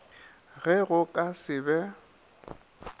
ge go ka se be